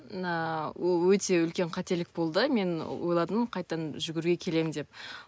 өте үлкен қателік болды мен ойладым қайтадан жүгіруге келемін деп